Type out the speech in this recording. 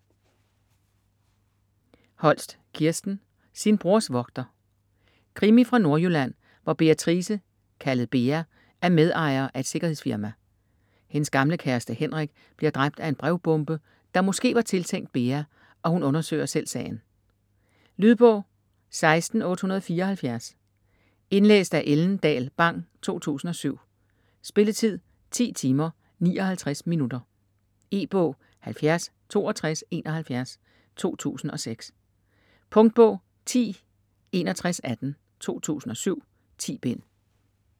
Holst, Kirsten: Sin brors vogter Krimi fra Nordjylland, hvor Beatrice, kaldet Bea, er medejer af et sikkerhedsfirma. Hendes gamle kæreste Henrik bliver dræbt af en brevbombe, der måske var tiltænkt Bea, og hun undersøger selv sagen. Lydbog 16874 Indlæst af Ellen Dahl Bang, 2007. Spilletid: 10 timer, 59 minutter. E-bog 706271 2006. Punktbog 106118 2007. 10 bind.